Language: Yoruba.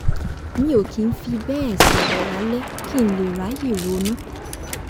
mi ò kì í fi bẹ́ẹ̀ sọ̀rọ̀ lálẹ́ kí n lè ráyè ronú